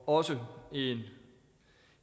også en